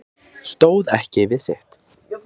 Stóð ekki við sitt